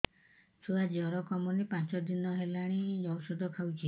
ଛୁଆ ଜର କମୁନି ପାଞ୍ଚ ଦିନ ହେଲାଣି ଔଷଧ ଖାଉଛି